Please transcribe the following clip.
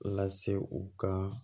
Lase u kan